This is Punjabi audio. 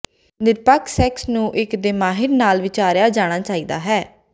ਿਨਰਪਖ ਸੈਕਸ ਨੂੰ ਇੱਕ ਦੇਮਾਿਹਰ ਨਾਲ ਵਿਚਾਰਿਆ ਜਾਣਾ ਚਾਹੀਦਾ ਹੈ